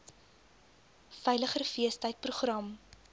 veiliger feestyd program